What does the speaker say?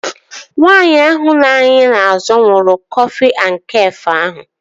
Nwaanyị ahụ nọ anyị n'azụ ṅụrụ kọfị na Kafé ahụ